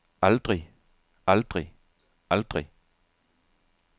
aldrig aldrig aldrig